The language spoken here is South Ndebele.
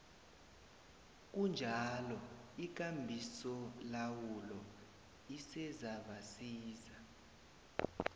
kunjalo ikambisolawulo isezabasiza